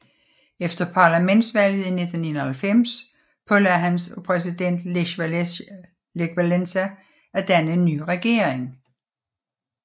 Efter parlamentsvalget i 1991 pålagdes han af præsident Lech Wałęsa at danne en ny regering